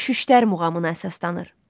Şüştər muğamına əsaslanır.